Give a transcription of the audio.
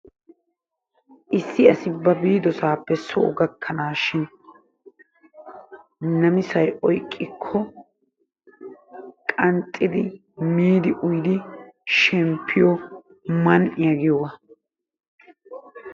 issi asi ba biidosaappe soo gakkanaashin namisay oyqikko qanxxidi miidi uyidi shemppiyo man'iya giyoogaa